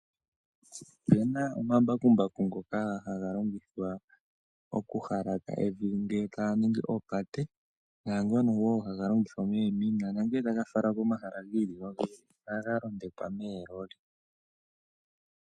Opena omambakumbaku ngoka haga longithwa oku halaka evi ngele taya ningi oopate ,Naangono woo haga longithwa nongele taga falwa komahala gi ili ohaga londekwa moololi.